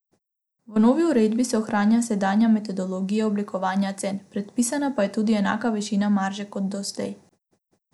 V novi uredbi se ohranja sedanja metodologija oblikovanja cen, predpisana pa je tudi enaka višina marže kot doslej.